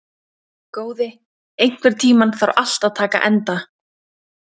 Góði, einhvern tímann þarf allt að taka enda.